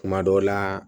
Kuma dɔ la